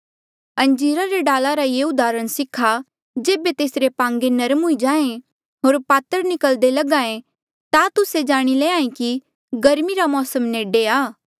अंजीरा रे डाला ले ये उदाहरण सीखा जेबे तेसरे पांगे नरम हुई जाहें होर पातर निकल्दे लग्हा ऐें ता तुस्से जाणी लैंहां ऐें कि गर्मी रा मौसम नेडे आ